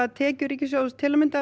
tekjur ríkissjóðs til að mynda